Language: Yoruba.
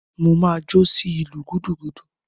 Mo máa jó sí ìlù gúdúgúdú.